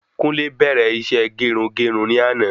Kunle bẹ́rẹ isé gerungerun ní àná